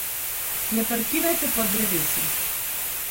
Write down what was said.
Ne parkirajte pod drevesi.